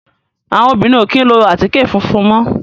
Àwọn obìnrin ò kí ń lo àtíkè funfun mọ́.